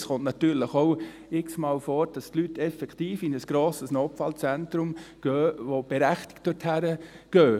Es kommt natürlich x-mal vor, dass die Leute effektiv in ein grosses Notfallzentrum gehen und auch berechtigt dorthin gehen.